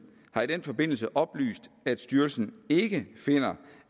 har i den forbindelse oplyst at styrelsen ikke finder